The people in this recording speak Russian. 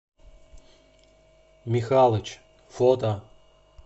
михалыч фото